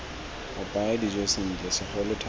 apaya dijo sentle segolo thata